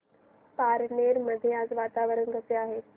पारनेर मध्ये आज वातावरण कसे आहे